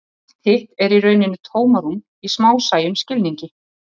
Allt hitt er í rauninni tómarúm í smásæjum skilningi.